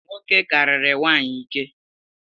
Nwoke kariri nwanyi ike